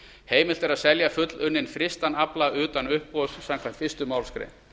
heimilt er að selja fullunninn frystan afla utan uppboðs samkvæmt fyrstu málsgrein